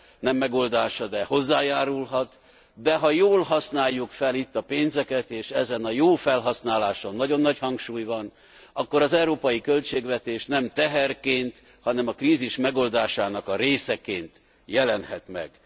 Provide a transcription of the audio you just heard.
Nem megoldás, de hozzájárulhat, ha jól használjuk fel itt a pénzeket, és ezen a jó felhasználáson nagyon nagy hangsúly van, akkor az európai költségvetés nem teherként, hanem a krízis megoldásának a részeként jelenhet meg.